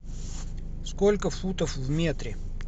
сколько футов в метре